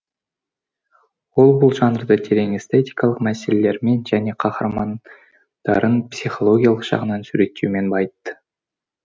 ол бұл жанрды терең эстетикалық мәселелермен және каһармандарын психологиялық жағынан суреттеумен байытты